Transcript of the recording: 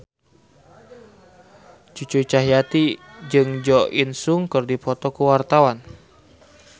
Cucu Cahyati jeung Jo In Sung keur dipoto ku wartawan